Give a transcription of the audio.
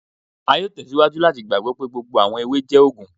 A yóò tẹ síwájú láti gbàgbọ́ pé gbogbo àwọn ewé jẹ́ òògùn.